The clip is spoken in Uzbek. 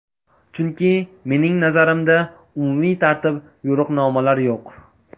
Chunki, mening nazarimda, umumiy tartib, yo‘riqnomalar yo‘q.